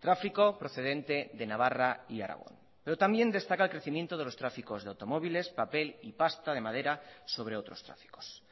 tráfico procedente de navarra y aragón pero también destaca el crecimiento de los tráficos de automóviles papel y pasta de madera sobre otros tráficos